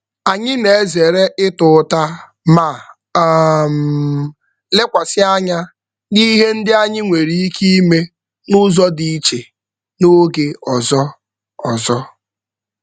Anyị na-ezere ịta ụta ma um lekwasị anya n'ihe ndị anyi nwere ike ime n'ụzọ dị iche n'oge ọzọ. ọzọ.